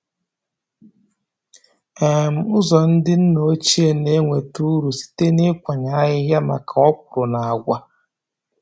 um Ụzọ ndị nna ochie na-enweta uru site na ịkwanye ahịhịa maka okwụrụ na agwa.